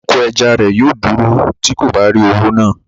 Oko ẹja rẹ̀ yóò dúró tí kò bá rí owó náà